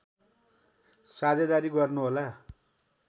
साझेदारी गर्नुहोला